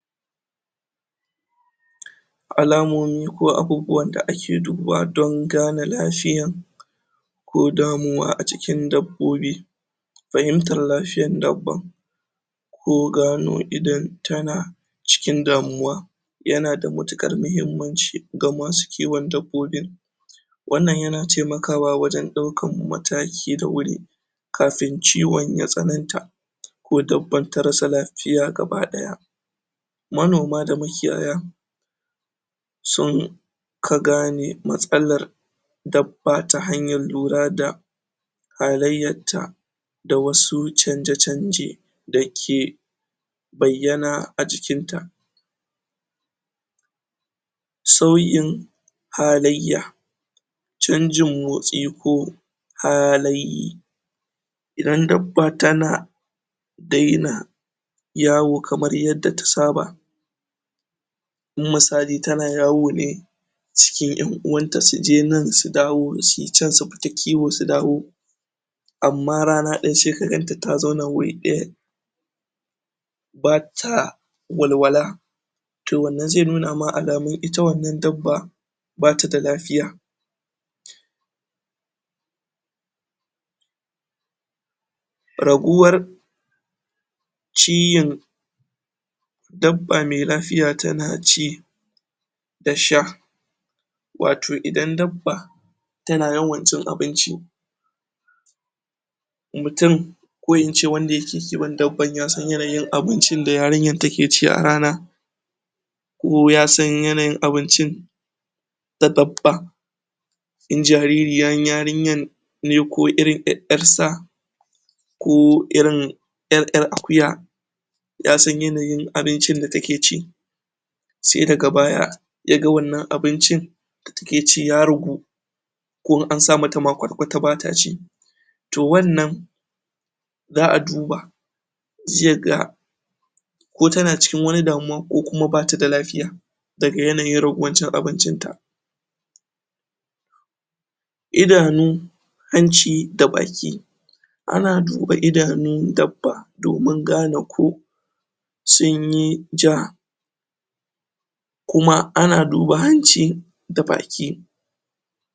alamomi ko abubuwan da ake dubawa don ngane lafiyan ko damuwa a cikin dabbobi fahimtan lafiyan dabba ko gano idon tana cikin damuwa yana da matukar mahimmanci ga masu kiwon dadbobin wan nan yana taimkawa wajen daukan mataki da huri kafin ciwon ya tsanan ta ko dabban ta rasa lafiya baki daya ma noma da makiyaya sun ka gane matsalan dabba ta hanyan lura da lahiyarta da wasu chanje chanje da ke baiyana a jikin ta sauyin halaiya chanjin motsi ko hali idan dabba tana daina yawo kaman yadda ta saba in musali tana yawo ne cikin yan uwanta suje nan su dawo su yi chan su fita kiwo su dawo amma rana daya sai ka ganta ta zauan huri daya bata walwala to wan nan zai nuna ma alamun ita wan nan dabba ba tada lafiya ragowar ciyin dabba mai lafiya sai ta dafa miki da sha wato idan dabba tana yawan cin abinci mutun ko ince wanda yake kiwon dabban, yasan yana yin abincin da yarinyar take ci a rana ko yasan yanayin abincin da dabba in jaririyan yarinnyan ne ko yarsa ko irin yar yar akuya yasan yanayin abincin da take ci sai daga baya yaga wan nan abincin a takaice ya ragu ko in an samata ma kwatakwata bataci to wan nan zaa duba zaiga ko tana cikin wani damuwa ko ba tada lafiya daga yanayin raguwan cin abincin ta idanu hanci da baki a na duba idanun dabba domin gane ko sunyi jaha kuma ana duba hanci da baki